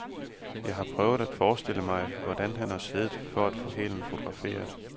Jeg har prøvet at forestille mig, hvordan han har siddet for at få hælen fotograferet.